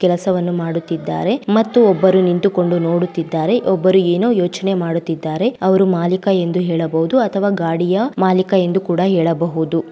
ಕೆಲಸವನ್ನು ಮಾಡುತ್ತಿದ್ದಾರೆ ಒಬ್ಬರು ನಿಂತುಕೊಂಡು ನೋಡುತ್ತಿದ್ದಾರೆ ಒಬ್ಬರು ಏನು ಯೋಚನೆ ಮಾಡುತ್ತಿದ್ದಾರೆ ಅವರು ಮಾಲೀಕ ಎಂದು ಹೇಳಬಹುದು ಅಥವಾ ಗಾಡಿಯ ಮಾಲಿಕ ಎಂದು ಕೂಡ ಹೇಳಬಹುದು.